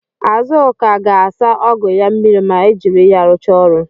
Azụka ga-asa ọgụ ya mmiri ma ejiri ya rụchaa ọrụ.